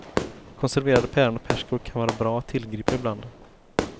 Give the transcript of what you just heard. Konserverade päron och persikor kan vara bra att tillgripa ibland.